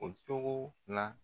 O cogo la.